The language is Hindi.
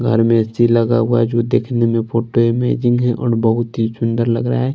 घर में ए_सी लगा हुआ हैं जो देखने में फोटो इमेजिंग है और बहोत ही सुंदर लग रहा हैं।